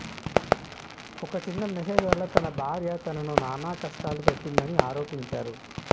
ఒక చిన్న మెసేజ్ వల్ల తన భార్య తనను నానా కష్టాలు పెట్టిందని ఆరోపించారు